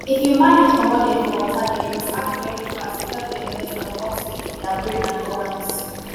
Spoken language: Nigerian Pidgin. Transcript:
if you manage comot dem for water den you must act very fast to help dem get um oxygen to dia brain and organs.